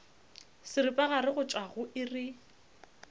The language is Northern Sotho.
seripagare go tšwa go iri